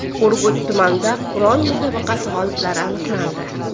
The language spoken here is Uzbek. Urgut tumanida Qur’on musobaqasi g‘oliblari aniqlandi.